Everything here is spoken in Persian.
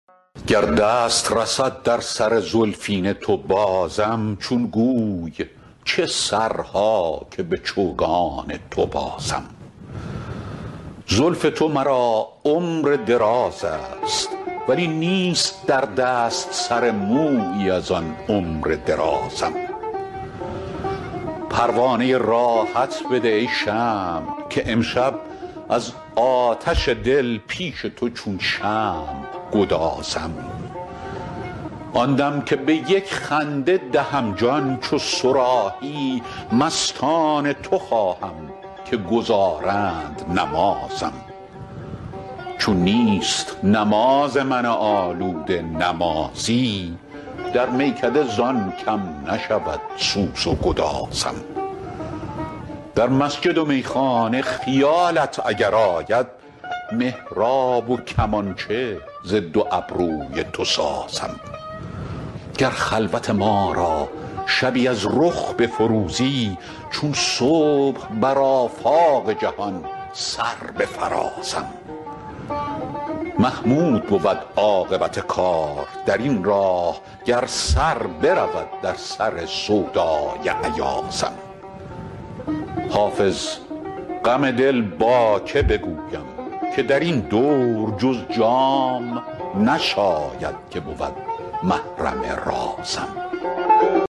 گر دست رسد در سر زلفین تو بازم چون گوی چه سرها که به چوگان تو بازم زلف تو مرا عمر دراز است ولی نیست در دست سر مویی از آن عمر درازم پروانه راحت بده ای شمع که امشب از آتش دل پیش تو چون شمع گدازم آن دم که به یک خنده دهم جان چو صراحی مستان تو خواهم که گزارند نمازم چون نیست نماز من آلوده نمازی در میکده زان کم نشود سوز و گدازم در مسجد و میخانه خیالت اگر آید محراب و کمانچه ز دو ابروی تو سازم گر خلوت ما را شبی از رخ بفروزی چون صبح بر آفاق جهان سر بفرازم محمود بود عاقبت کار در این راه گر سر برود در سر سودای ایازم حافظ غم دل با که بگویم که در این دور جز جام نشاید که بود محرم رازم